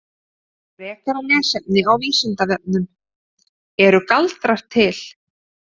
Frekara lesefni á Vísindavefnum: Eru galdrar til?